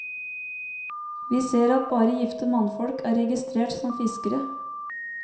Vi ser at bare gifte mannfolk er registrert som fiskere.